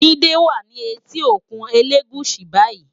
Jide wá ni éti ókún Elegushi bàyí